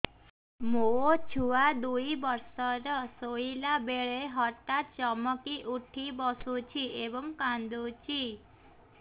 ମୋ ଛୁଆ ଦୁଇ ବର୍ଷର ଶୋଇଲା ବେଳେ ହଠାତ୍ ଚମକି ଉଠି ବସୁଛି ଏବଂ କାଂଦୁଛି